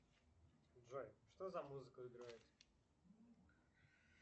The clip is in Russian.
джой что за музыка играет